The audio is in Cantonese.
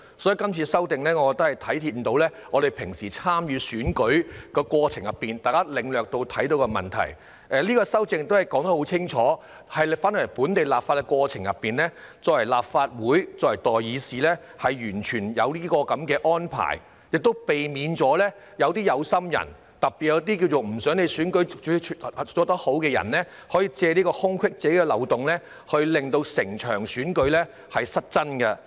所以，今次的修正案反映了大家在平常參與選舉的過程中所領略到和發現的問題，而且修正案作出清楚說明，回到本地立法的過程中，作為立法會、作為代議士，有這樣的安排亦可避免一些"有心人"，特別是一些希望選舉無法順利進行的人，可以藉此空隙和漏洞，令整場選舉終止。